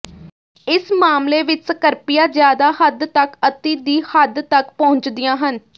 ਇਸ ਮਾਮਲੇ ਵਿਚ ਸਕ੍ਰਪੀਆਂ ਜ਼ਿਆਦਾ ਹੱਦ ਤੱਕ ਅਤਿ ਦੀ ਹੱਦ ਤੱਕ ਪਹੁੰਚਦੀਆਂ ਹਨ